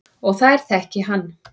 Og þær þekki hann.